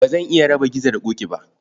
Ba zan iya raba Gizo da Ƙoƙi ba